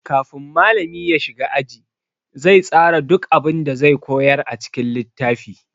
Kafin malami ya shiga aji, zai tsara duk abun da zai koyar a cikin littafi.